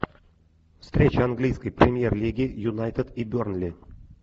встреча английской премьер лиги юнайтед и бернли